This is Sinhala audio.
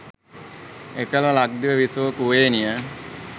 එකල ලක්දිව විසූ කුවේණිය